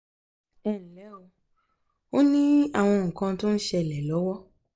ẹ um ǹlẹ́ ó ní àwọn nǹkan tó ń ṣẹlẹ̀ lọ́wọ́